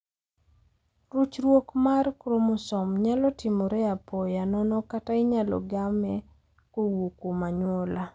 Ruchruok mar kromosom nyalo timore apoya nono kata inyalo game kowuok kuom anyuola.